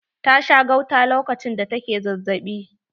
Ta sha gauta lokacin da ta ke zazzabi.